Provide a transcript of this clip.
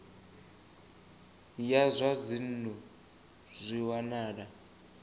ya zwa dzinnu zwi wanala